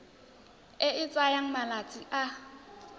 e e tsayang malatsi a